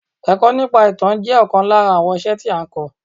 Èkọ́ nípa ìtàn jẹ́ ọ̀kan lára àwọn iṣẹ́ tí a n kọ́.